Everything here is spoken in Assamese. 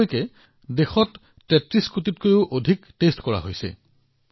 এতিয়ালৈকে দেশত ৩৩ কোটিতকৈও অধিক নমুনা পৰীক্ষা কৰা হৈছে